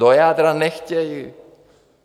Do jádra nechtějí.